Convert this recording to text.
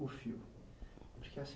o Porque assim,